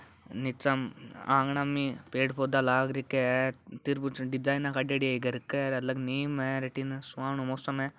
नीच आंगना में पेड़ पोधा लागरखिया है तीर कुछ डिजाइना काडेड़ी है इ घर के आगे नीम है और अठीने सुहानो मौसम है।